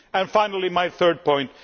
Finally, my third point.